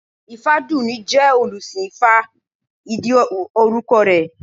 Ifádùúní jẹ́ olùsìn ifá ìdí orúkọ rẹ̀